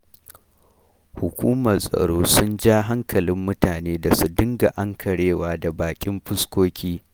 Hukumar tsaro sun ja hankalin mutane da su dinga ankarewa da baƙin fuskoki.